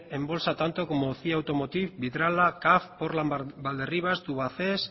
en bolsa tanto como cie automotive vidrala portland valderrivas tubacex